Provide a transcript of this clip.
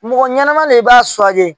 Mɔgɔ ɲɛnama le i b'a